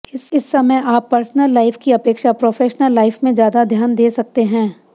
इस समय आप पर्सनल लाइफ की अपेक्षा प्रोफेशनल लाइफ में ज्यादा ध्यान दे सकते हैं